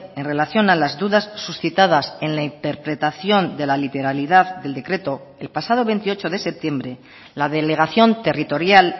en relación a las dudas suscitadas en la interpretación de la literalidad del decreto el pasado veintiocho de septiembre la delegación territorial